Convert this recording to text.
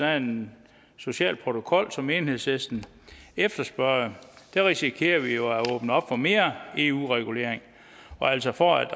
af en social protokol som enhedslisten efterspørger risikerer vi jo at åbne op for mere eu regulering og altså for at